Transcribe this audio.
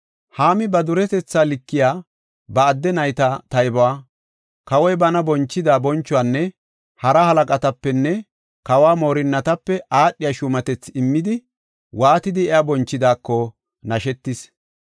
Haami ba duretetha likiya, ba adde nayta taybuwa, kawoy bana bonchida bonchuwanne hara halaqatapenne kawo moorinatape aadhiya shuumatethi immidi, waatidi iya bonchidaako nashetis.